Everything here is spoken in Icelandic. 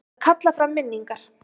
Að kalla fram minningar